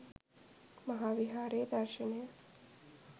මහාවිහාරයේ දර්ශනය